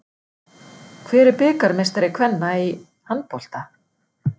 Hver er bikarmeistari kvenna í handbolta?